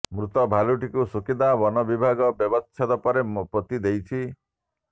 ମୃତ ଭାଲୁଟିକୁ ସୁକିନ୍ଦା ବନ ବିଭାଗ ବ୍ୟବଚ୍ଛେଦ ପରେ ପୋତି ଦେଇଛି